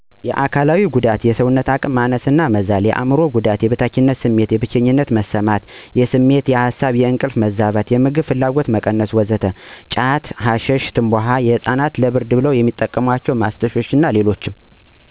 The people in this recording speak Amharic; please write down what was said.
የአካላዊ ጉዳት የሰውነት መጠን መቀነስ :የሰውነት አቅም ማነስ እና መዛል አእምሮአዊ ጉዳት የበታችነት ስሜት : ብቸኝነት መሰማት : የስሜት :የሀሳብ :የእንቅልፍ መዛባት : የምግብ ፍላጎት መቀነስ እና ወዘተ ጫት :ሀሺሽ : ትምባሆ : ህፃናት ለብርድ የሚያስቧቸው ማስቲሽ እና ሌሎችም